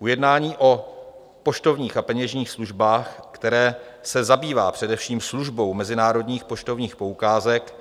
Ujednání o poštovních a peněžních službách, které se zabývá především službou mezinárodních poštovních poukázek,